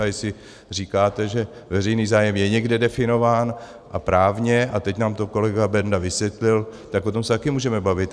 A jestli říkáte, že veřejný zájem je někde definován, a právně, a teď nám to kolega Benda vysvětlil, tak o tom se taky můžeme bavit.